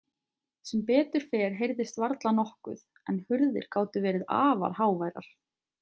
Sem betur fer heyrðist varla nokkuð en hurðir gátu verið afar háværar.